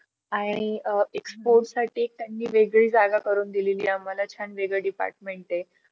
आणि एक sport साठी त्यांची वेगळी जागा करून दिली. आम्हाला छान वेळ department आहे.